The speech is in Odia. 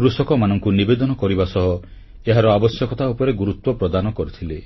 କୃଷକମାନଙ୍କୁ ନିବେଦନ କରିବା ସହ ଏହାର ଆବଶ୍ୟକତା ଉପରେ ଗୁରୁତ୍ୱ ପ୍ରଦାନ କରିଥିଲେ